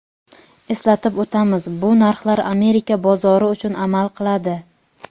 Eslatib o‘tamiz bu narxlar Amerika bozori uchun amal qiladi.